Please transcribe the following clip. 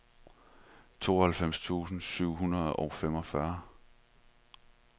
tooghalvfems tusind syv hundrede og femogfyrre